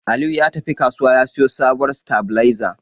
Aliyu ya tafi kasuwa ya siyo sabuwar sitabiliza.